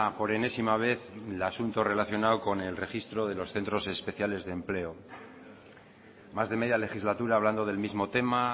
por enésima vez el asunto relacionado con el registro de los centros especiales de empleo más de media legislatura hablando del mismo tema